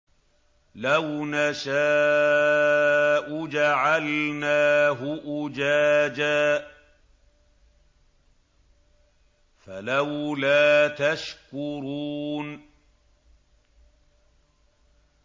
لَوْ نَشَاءُ جَعَلْنَاهُ أُجَاجًا فَلَوْلَا تَشْكُرُونَ